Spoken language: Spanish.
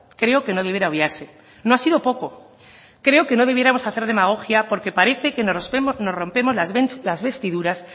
creo que no debiera obviarse no ha sido poco creo que no debiéramos hacer demagogia porque parece que nos rompemos las vestiduras